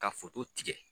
Ka tigɛ